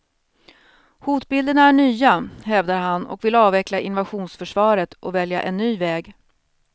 Hotbilderna är nya, hävdar han och vill avveckla invasionsförsvaret och välja en ny väg.